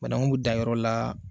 Banaku bɛ dan yɔrɔ la